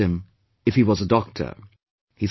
" I asked him if he was a doctor